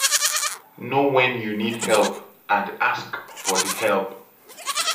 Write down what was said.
know when you need help and ask for di help